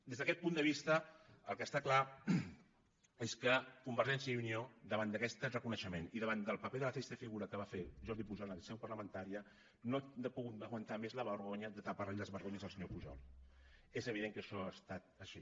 des d’aquest punt de vista el que està clar és que convergència i unió davant d’aquest reconeixement i davant del paper de la trista figura que va fer jordi pujol en seu parlamentària no ha pogut aguantar més la vergonya de tapar li les vergonyes al senyor pujol és evident que això ha estat així